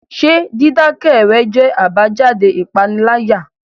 Ṣé dídákẹ́ rẹ jẹ́ àbájáde ìpániláyà?